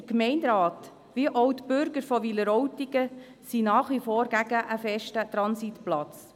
Der Gemeinderat wie auch die Bürger von Wileroltigen sind nach wie vor explizit gegen einen festen Transitplatz.